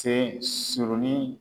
Sen surunnin.